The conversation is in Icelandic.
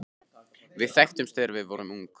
Við þekktumst þegar við vorum ung.